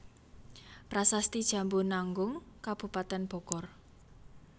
Prasasti Jambu Nanggung Kabupaten Bogor